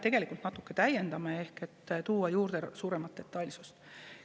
Tegelikult me natuke täiendame seda seaduseelnõu ehk lisame rohkem detailsust.